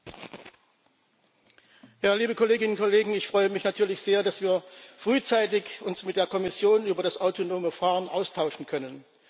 Herr Präsident! Liebe Kolleginnen und Kollegen, ich freue mich natürlich sehr, dass wir uns frühzeitig mit der Kommission über das autonome Fahren austauschen können.